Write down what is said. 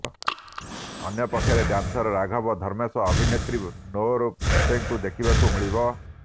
ଅନ୍ୟପକ୍ଷରେ ଡ୍ୟାନ୍ସର ରାଘବ ଧର୍ମେଶ୍ ଅଭିନେତ୍ରୀ ନୋର ଫତେଙ୍କୁ ଦେଖିବାକୁ ମିଳିବ